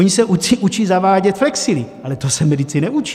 Ony se učí zavádět flexily, ale to se medici neučí.